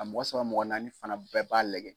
A mɔgɔ saba mɔgɔ naani fana bɛɛ b'a lajɛ.